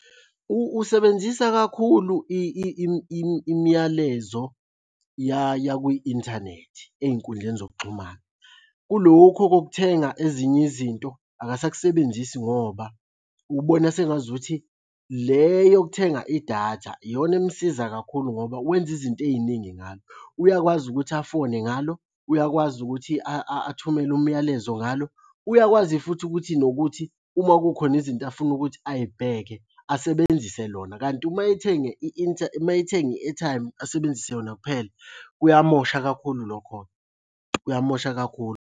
Usebenzisa kakhulu imiyalezo yakwi-inthanethi ey'nkundleni zokuxhumana. Kulokho kokuthenga ezinye izinto, akasakusebenzisi ngoba ubona sengazukuthi le yokuthenga idatha iyona emusiza kakhulu ngoba wenza izinto ey'ningi ngalo. Uyakwazi ukuthi afone ngalo, uyakwazi ukuthi athumele umyalezo ngalo, uyakwazi futhi ukuthi nokuthi uma kukhona izinto afuna ukuthi ayibheke asebenzise lona. Kanti uma ethenge uma ethenge i-airtime asebenzise yona kuphela, kuyamosha kakhulu lokho-ke, kuyamosha kakhulu.